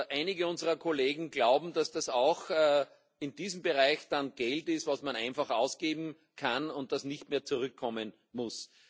Einige unserer Kollegen glauben, dass das auch in diesem Bereich dann Geld ist, das man einfach ausgeben kann und das nicht mehr zurückkommen muss.